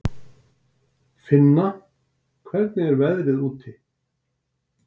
Finna, hvernig er veðrið úti?